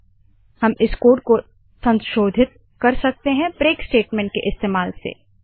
four i 15 disp end हम इस code को रूपांतरित कर सकते है ब्रेक ब्रेक स्टेटमेंट के इस्तेमाल से